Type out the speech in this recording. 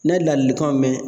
N'a ye ladilikanw mɛn